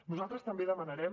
nosaltres també demanarem